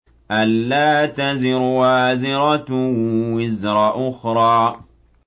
أَلَّا تَزِرُ وَازِرَةٌ وِزْرَ أُخْرَىٰ